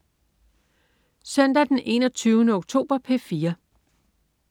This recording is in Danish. Søndag den 21. oktober - P4: